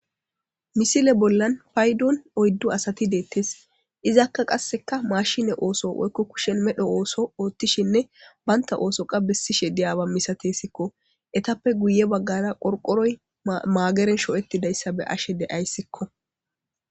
misile bollan paydon oyddu asati deettes izakka qasseka mashine ooso woykko kushen medho ooso oothtishinne banta oosoqa bessishe diyaaba misatessikko etappe guye baggara qorqoroy maageren sho'ettidayssa be ashe de'ayssikko